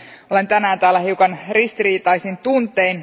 Olen tänään täällä hiukan ristiriitaisin tuntein.